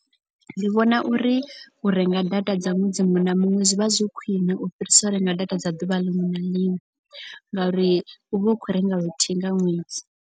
Ndi vhona uri u renga data dza ṅwedzi muṅwe na muṅwe zwivha zwi khwiṋe. U fhirisa u renga data dza duvha liṅwe na liṅwe. Ngauri u vha u khou renga luthihi nga ṅwedzi.